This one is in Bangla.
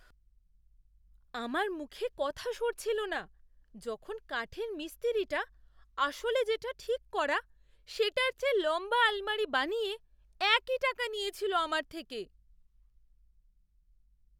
আমার মুখে কথা সরছিল না যখন কাঠের মিস্ত্রিটা আসলে যেটা ঠিক করা সেটার চেয়ে লম্বা আলমারি বানিয়ে একই টাকা নিয়েছিল আমার থেকে!